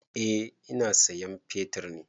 Eh ina sayan fetir ne.